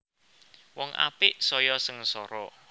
Wong apik saya sengsara